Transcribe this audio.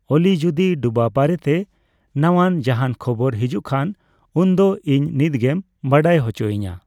ᱚᱞᱤ ᱡᱩᱫᱤ ᱰᱩᱵᱟᱹ ᱵᱟᱨᱮᱟᱴᱮ ᱱᱟᱣᱟᱱ ᱡᱟᱦᱟᱱ ᱠᱷᱚᱵᱚᱨ ᱦᱮᱡᱮᱜ ᱠᱷᱟᱱ ᱩᱱᱫᱚ ᱤᱧ ᱱᱤᱛᱜᱮᱢ ᱵᱟᱲᱟᱭ ᱦᱚᱪᱚ ᱤᱧᱟ